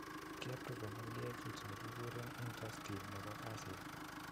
Kiapproven FDA kit ne giguren interstim Nepo kasini.